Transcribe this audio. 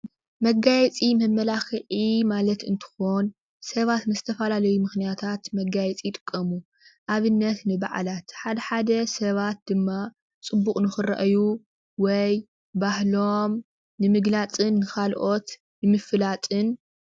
መጋየፂ መመላክዒ ማለት እንትኾን ሰባት ንተፈላለዩ ምኽንያታት መጋየፂ ይጥቀሙ። ኣብነት ንበዓላት ሓደ ሓደ ሰባት ድማ ፅቡቕ ንኽርአዩ ወይ ባህሎም ንምግላፅን ንኻልኦት ንምፍላጥን።